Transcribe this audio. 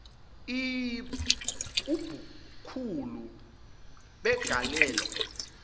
iii ubukhulu begalelo